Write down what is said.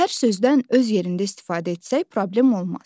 Hər sözdən öz yerində istifadə etsək problem olmaz.